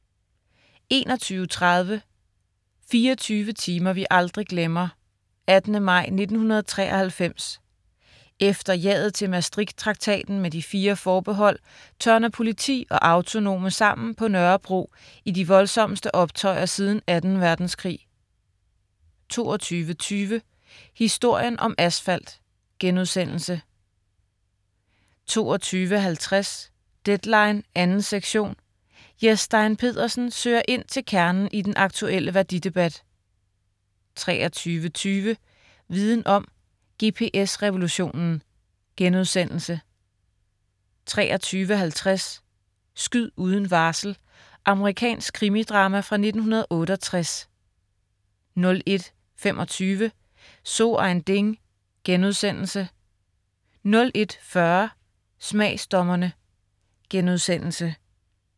21.30 24 timer vi aldrig glemmer. 18. maj 1993. Efter ja'et til Maastricht-traktaten med de fire forbehold tørner politi og autonome sammen på Nørrebro i de voldsomste optøjer siden Anden Verdenskrig 22.20 Historien om asfalt* 22.50 Deadline 2. sektion. Jes Stein Pedersen søger ind til kernen i den aktuelle værdidebat 23.20 Viden om: GPS revolutionen* 23.50 Skyd uden varsel. Amerikansk krimidrama fra 1968 01.25 So ein Ding* 01.40 Smagsdommerne*